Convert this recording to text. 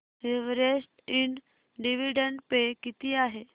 Everest ind dividend pay किती आहे